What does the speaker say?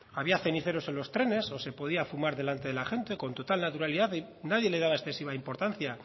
había ceniceros en los trenes o se podía fumar delante de la gente con total naturalidad nadie le daba excesiva importancia